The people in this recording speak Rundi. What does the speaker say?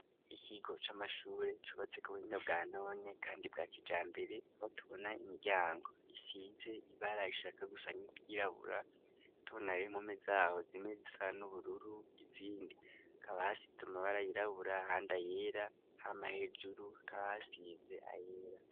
Ikigo c'amashure cubatse ku buhinga bwa none kandi bwa kijambere aho tubona imiryango isize ibara rishaka gusa nk'iryirabura tubona n'impome zaho zimwe zisa n'ubururu izindi hakaba hasize amabara yirabura ahandi ayera hama hejuru hakaba hasize ayera.